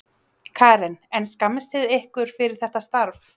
Karen: En skammist þið ykkar fyrir þetta starf?